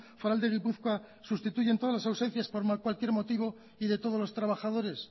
foral de gipuzkoa sustituyen todas las ausencias por cualquier motivo y de todos los trabajadores